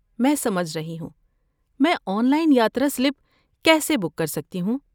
میں سمجھ رہی ہوں، میں آن لائن یاترا سلپ کیسے بک کر سکتی ہوں؟